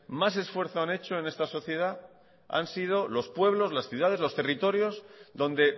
más esfuerzo han hecho en esta sociedad han sido los pueblos las ciudades los territorios donde